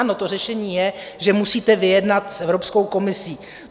Ano, to řešení je, že musíte vyjednat s Evropskou komisí.